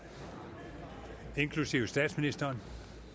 inklusive statsministeren